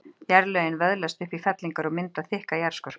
jarðlögin vöðlast upp í fellingar og mynda þykka jarðskorpu